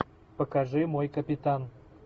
покажи мой капитан